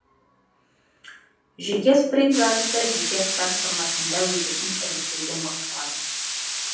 жеке спринт жарысы жеке старт форматында өтетін іріктеуден басталады